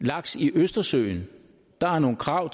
laks i østersøen der er nogle krav